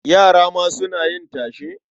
Yara ma suna yin tashe?